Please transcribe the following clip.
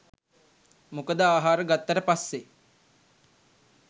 මොකද ආහාර ගත්තට පස්සේ